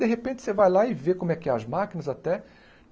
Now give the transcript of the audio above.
De repente, você vai lá e vê como é que é as máquinas até.